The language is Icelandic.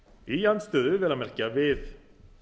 í andstöðu vel að merkja við